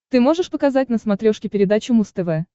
ты можешь показать на смотрешке передачу муз тв